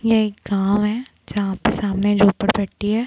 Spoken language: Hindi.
यह एक गाँव है जहाँ पर सामने झोपड़पट्टी है।